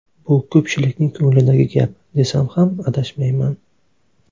Bu ko‘pchilikning ko‘nglidagi gap, desam ham adashmayman.